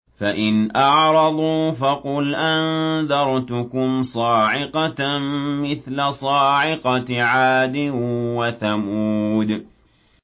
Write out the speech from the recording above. فَإِنْ أَعْرَضُوا فَقُلْ أَنذَرْتُكُمْ صَاعِقَةً مِّثْلَ صَاعِقَةِ عَادٍ وَثَمُودَ